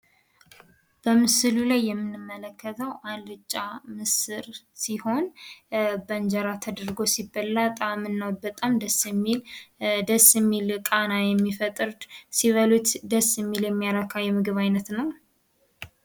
በምሥሉ ላይ የምንመለከተው አልጫ ምስር ሲሆን፤ በእንጀራ ተደርጎ ሲበላ ታእምናው በጣም ደስ የሚል ደስ የሚል ቃና የሚፈጥር ሲበሉለት ደስ የሚል የሚያረካ የምግብ አይነት ነው።